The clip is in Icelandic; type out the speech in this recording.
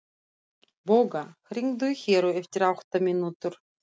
Bogga, hringdu í Heru eftir átta mínútur.